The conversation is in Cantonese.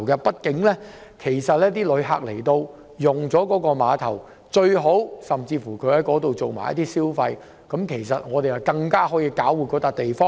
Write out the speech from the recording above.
畢竟旅客來到碼頭，最好可以順道在那裏消費，這樣我們便可以搞活這個地方。